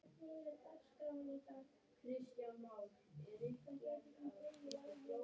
Sveinbjörg, viltu hoppa með mér?